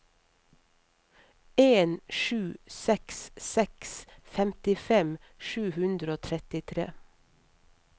en sju seks seks femtifem sju hundre og trettitre